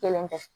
Kelen kɛ